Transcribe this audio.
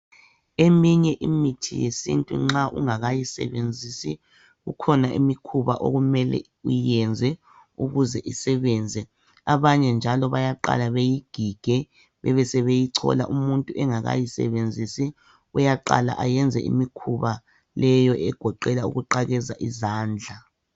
Eminye imithi yesintu nxa ungakayisebenzisi, ikhona imikhuba okumele uyenze ukuze isebenze. Abanye njalo bayaqala bayigige bebesebeyichola. Umuntu ungakayisebenzisi uyaqala bayenze imikhuba leyo egoqela ukuqakeza izandla.